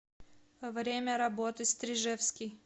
время работы стрижевский